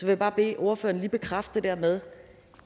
vil bare bede ordføreren lige bekræfte det her med